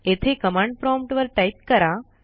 येथे command prompt वर type करा